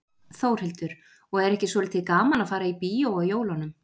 Þórhildur: Og er ekki svolítið gaman að fara í bíó á jólunum?